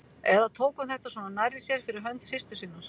Eða tók hún þetta svona nærri sér fyrir hönd systur sinnar?